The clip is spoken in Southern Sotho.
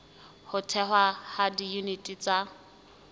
ho thehwa ha diyuniti tsa